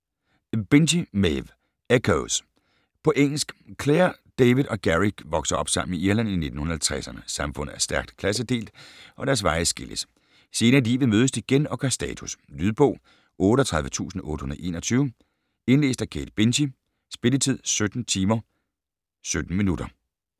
Binchy, Maeve: Echoes På engelsk. Clare, David og Gerry vokser op sammen i Irland i 1950'erne. Samfundet er stærkt klassedelt, og deres veje skilles. Senere i livet mødes de igen og gør status. Lydbog 38821 Indlæst af Kate Binchy. Spilletid: 17 timer, 17 minutter.